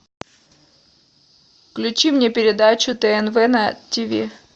включи мне передачу тнв на тиви